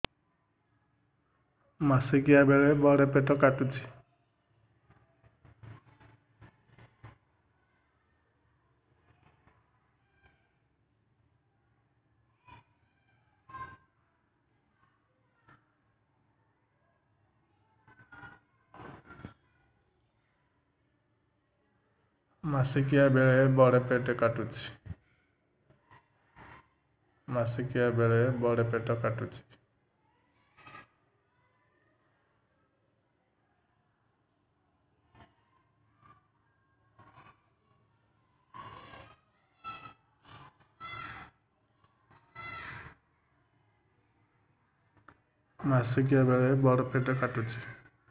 ମାସିକିଆ ବେଳେ ବଡେ ପେଟ କାଟୁଚି